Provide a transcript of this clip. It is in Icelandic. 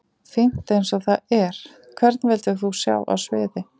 Fínt eins og það er Hvern vildir þú sjá á sviði?